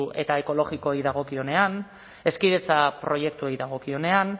eta ekologikoei dagokienean hezkidetza proiektuei dagokienean